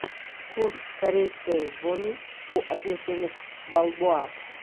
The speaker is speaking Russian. курс корейской воны по отношению к бальбоа